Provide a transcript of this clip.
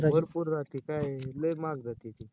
भरपूर राहते काय आहे? लय महाग जाते ती?